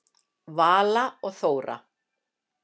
Vala og Þóra.